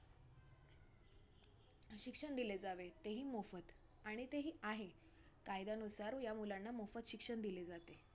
शिक्षण दिले जावे ते ही, मोफत आणि तेही आहे. कायद्यानुसार ह्या मुलांना मोफत शिक्षण दिले जाते.